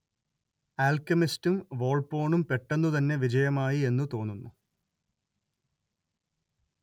ആൽക്കെമിസ്റ്റും വോൾപ്പോണും പെട്ടെന്നുതന്നെ വിജയമായി എന്നു തോന്നുന്നു